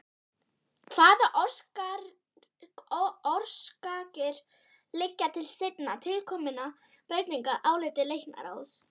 Hvaða orsakir liggja til seinna tilkominna breytinga að áliti læknaráðs?